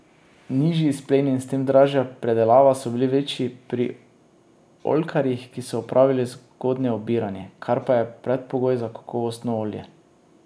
Nižji izpleni in s tem dražja predelava so bili večji pri oljkarjih, ki so opravili zgodnje obiranje, kar pa je predpogoj za kakovostno olje.